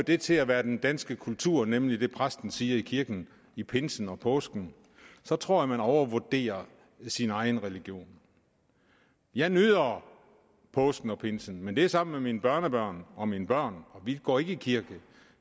det til at være den danske kultur nemlig det præsten siger i kirken i pinsen og i påsken så tror jeg man overvurderer sin egen religion jeg nyder påsken og pinsen men det er sammen med mine børnebørn og mine børn og vi går ikke i kirke